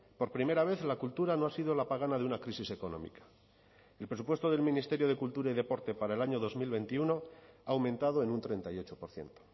por primera vez la cultura no ha sido la pagana de una crisis económica el presupuesto del ministerio de cultura y deporte para el año dos mil veintiuno ha aumentado en un treinta y ocho por ciento